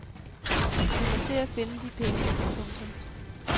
Vi må se at finde de penge. punktum